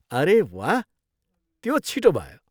अरे, वाह, त्यो छिटो भयो!